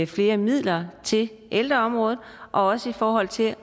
flere midler til ældreområdet og også i forhold til